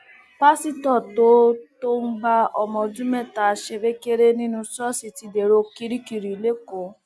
pásítọ tó tó ń bá ọmọ ọdún mẹta ṣerékeré nínú ṣọọṣì ti dèrò kirikiri lẹkọọ